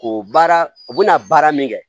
Ko baara u bɛna baara min kɛ